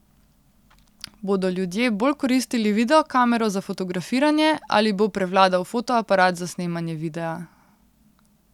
Bodo ljudje bolj koristili videokamero za fotografiranje ali bo prevladal fotoaparat za snemanje videa?